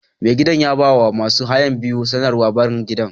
Mai gidan ya ba wa masu haya biyu sanarwar barin gidan.